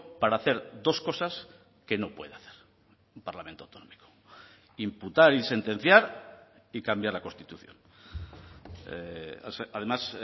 para hacer dos cosas que no puede hacer un parlamento autonómico imputar y sentenciar y cambiar la constitución además